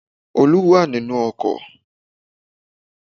Olú wà nínù ọkò